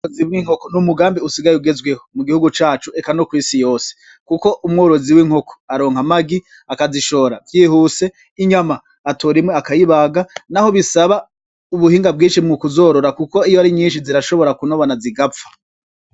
Rozibw' inkoko n'umugambi usigaye ugezweho mu gihugu cacu eka no kw'isi yose, kuko umworozi w'inkoko aronka amagi akazishora vyihuse inyama atorimwe akayibaga na ho bisaba ubuhinga bwinshi mwu kuzorora, kuko iyo ari nyinshi zirashobora kunobana zigapfa.